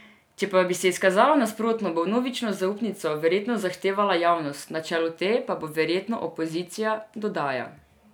Če pa bi se izkazalo nasprotno, bo vnovično zaupnico verjetno zahtevala javnost, na čelu te pa bo verjetno opozicija, dodaja.